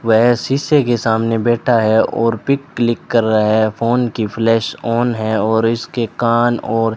वेह शीशे के सामने बैठा है और पिक क्लिक कर रहा है फोन की फ़्लैश ऑन है और इसके कान और --